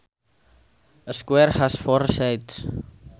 A square has four sides